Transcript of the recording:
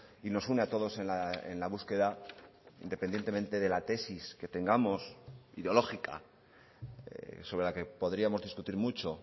y nos une a todos en la búsqueda independientemente de la tesis que tengamos ideológica sobre la que podríamos discutir mucho